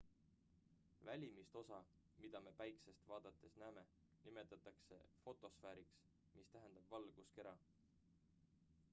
välimist osa mida me päikest vaadates näeme nimetatakse fotosfääriks mis tähendab valguskera